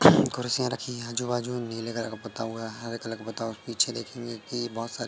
कुर्सियां रखी है। आजू बाजू नीले कलर का पुता हुआ हरे कलर का पुता हुआ पीछे देखेंगे की बहोत सारे--